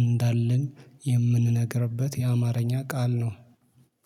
እንዳለን የምንነግርበት የአማርኛ ቃል ነው